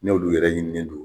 N'olu yɛrɛ ɲininen don